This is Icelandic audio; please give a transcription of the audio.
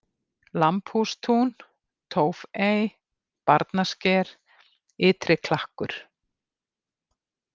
Lambhússtún, Tófey, Barnasker, Ytriklakkur